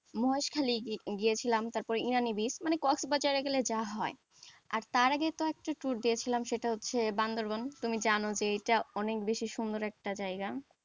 মহেশখালী গিয়েছিলাম তারপর ইনানী beach মানে কক্সবাজার এ গেলে যা হয়, আর তার আগে তো একটা toor দিয়েছিলাম সেটা হচ্ছে বান্দরবান তুমি জানো যে এইটা অনেক বেশি সুন্দর একটা জায়গা,